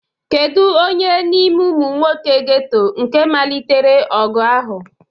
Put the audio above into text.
Kedu onye n'ime ụmụ nwoke geto nke malitere ọgụ ahụ?